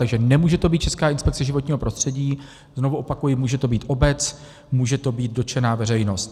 Takže nemůže to být České inspekce životního prostředí, znovu opakuji, může to být obec, může to být dotčená veřejnost.